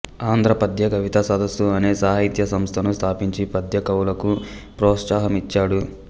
ఆంధ్ర పద్యకవితా సదస్సు అనే సాహిత్య సంస్థను స్థాపించి పద్య కవులకు ప్రోత్సాహమిచ్చాడు